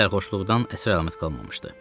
Sərxoşluqdan əsər-əlamət qalmamışdı.